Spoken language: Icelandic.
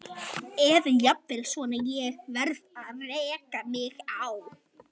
Eða jafnvel svona: Ég varð að reka mig á.